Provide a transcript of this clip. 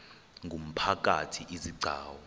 ngumphakathi izi gcawu